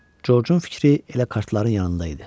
Corcun fikri elə kartların yanında idi.